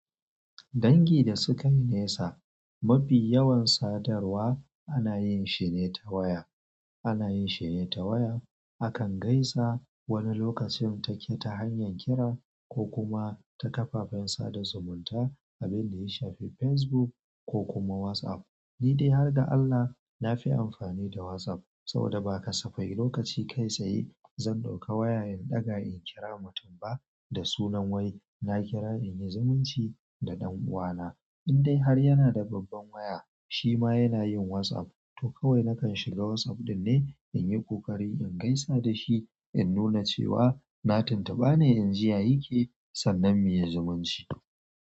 Dangi da sukanyi nesa, mafi yawan sadarwa anayinshi ne ta waya. Anayinshi ne ta waya akan gaisa wani lokacin take ta hanyar kira ko kuma ta kafafen sada zumunta abinda yashafi Facebook ko kuma WhatsApp. Ni dai har ga Allah nafi amfani da WhatsApp saboda ba kasafai lokaci kai saye zan ɗauka wayoyin ɗaga in kira mutum ba. Dasunan wai naƙira inyi zumunci da ɗan uwana indai har yana da babban waya shima yanayin WhatsApp. To kawai nakan shiga WhatsApp ɗinnan inyi ƙoƙari ingaisa dashi innuna cewa na tuntuba ne inji yayi ke sannan muyi zumunci.